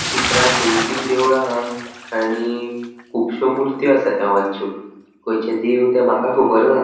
चित्रांन दोन तीन देवळा हा आणि कूबश्यो मुर्त्यो आसा देवांच्यो खंयचे देव ते माका खबर ना.